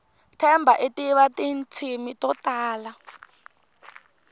themba itiva tintshimi totala